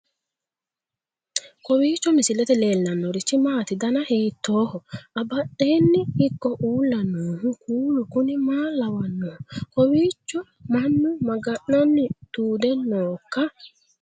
kowiicho misilete leellanorichi maati ? dana hiittooho ?abadhhenni ikko uulla noohu kuulu kuni maa lawannoho? kawiicho mannu maga'nanni tuude nooikka